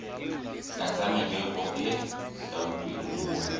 tlasa merero e hlwauweng mona